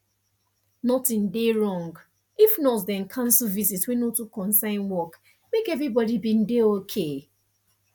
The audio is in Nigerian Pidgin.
nothing dey wrong if nurse dem cancel visit wey no too concern work make everybody bin dey okay